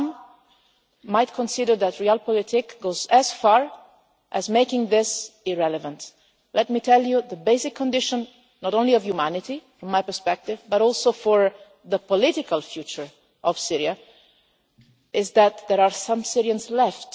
Some might consider that Realpolitik goes as far as making this irrelevant. Let me tell you that the basic condition not only of humanity from my perspective, but also for the political future of Syria is that there are some Syrians left.